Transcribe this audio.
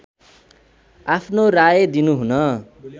आफ्नो राय दिनुहुन